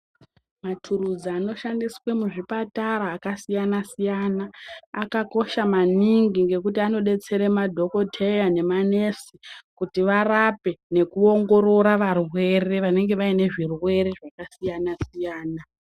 Matulusi anoshandiswa muzvipatara akasiyana siyana akaosha maningi ngekuti anodetsera madhokodheya nemanesi kuti varape nekuongorora varwere vanenge vaine zvirwere zvakasiyana siyana.